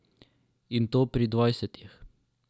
In to pri dvajsetih.